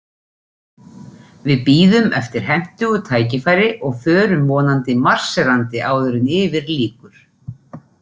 Við bíðum eftir hentugu tækifæri, og förum vonandi marserandi áður en yfir lýkur.